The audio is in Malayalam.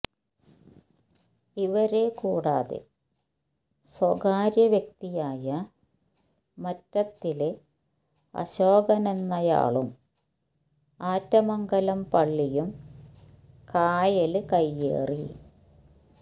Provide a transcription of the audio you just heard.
ഇവരെ കൂടാതെ സ്വകാര്യ വ്യക്തിയായ മറ്റത്തില് അശോകനെന്നയാളും ആറ്റമംഗലം പള്ളിയും കായല് കയ്യേറി